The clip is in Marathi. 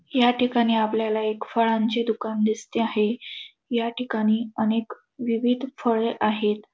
या ठिकाणी आपल्याला एक फळांचे दुकान दिसते आहे. या ठिकाणी अनेक विविध फळे आहेत.